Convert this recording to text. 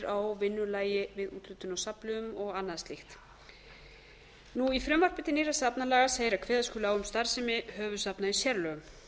á vinnulagi við úthlutun á safnliðum og annað slíkt í frumvarpi til nýrra safnalaga segir að kveða skuli á um starfsemi höfuðsafna í sérlögum